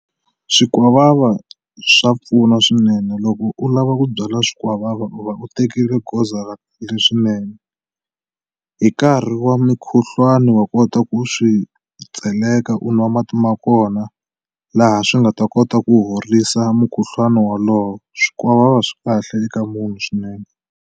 Swikwavava swa pfuna swinene loko u lava ku byala swikwavava u va u tekile goza ra swinene hi nkarhi wa mikhuhlwani wa nga kota ku swi tseleka u nwa mati ma kona laha swi nga ta kota ku horisa mukhuhlwani wolowo swikwavava swi kahle eka munhu swinene.